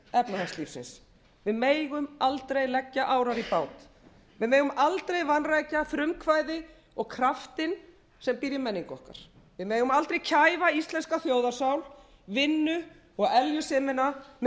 efnahagslífsins við megum aldrei leggja árar í bát við megum aldrei vanrækja frumkvæði og kraftinn sem býr í menningu okkar við megum aldrei kæfa íslenska þjóðarsál vinnu og eljusemina með